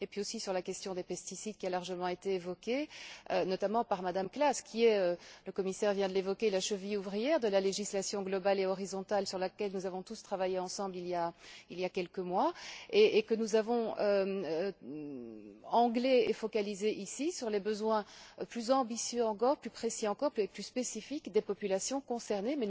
Puis, la question des pesticides a été largement évoquée, notamment par Mme Klaß elle est le commissaire vient de l'évoquer la cheville ouvrière de la législation globale et horizontale sur laquelle nous avons tous travaillé ensemble, il y a quelques mois, et que nous avons focalisée ici sur les besoins plus ambitieux encore, plus précis encore et plus spécifiques des populations concernées.